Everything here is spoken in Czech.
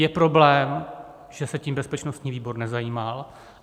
Je problém, že se tím bezpečnostní výbor nezabýval.